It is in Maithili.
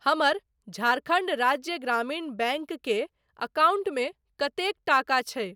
हमर झारखण्ड राज्य ग्रामीण बैंक के अकाउंटमे कतेक टाका छै?